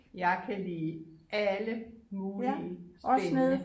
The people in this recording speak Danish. Jeg kan lide alle mulige spændende